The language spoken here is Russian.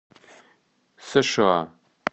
сша